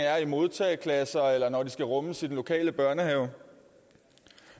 er i modtageklasser eller i den lokale børnehave